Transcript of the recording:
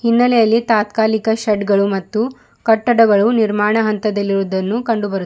ಹಿನ್ನೆಲೆಯಲ್ಲಿ ತಾತ್ಕಾಲಿಕ ಶೆಡ್ಡು ಗಳು ಮತ್ತು ಕಟ್ಟಡಗಳು ನಿರ್ಮಾಣ ಹಂತದಲ್ಲಿ ಇರುವುದನ್ನು ಕಂಡುಬರು --